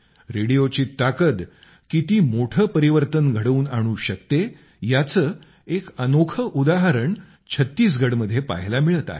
रेडिओची ताकद किती मोठे परिवर्तन घडवून आणू शकते याचं एक अनोखं उदाहरण छत्तीसगडमध्ये पहायला मिळत आहे